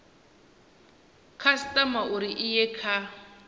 khasitama uri i ye kha